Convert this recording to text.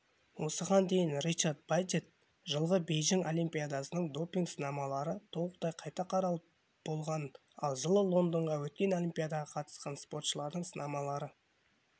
осыған дейін ричард баджетт жылғы бейжің олимпиадасының допинг сынамалары толықтай қайта қаралып болғанын ал жылы лондонда өткен олимпиадаға қатысқан спортшылардың сынамалары